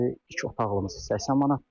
İki otaqlımız 80 manatdır.